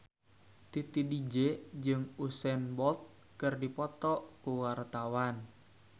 Titi DJ jeung Usain Bolt keur dipoto ku wartawan